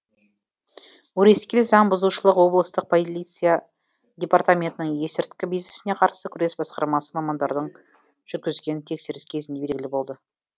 өрескел заң бұзушылық облыстық полиция департаментінің есірткі бизнесіне қарсы күрес басқармасы мамандары жүргізген тексеріс кезінде белгілі болды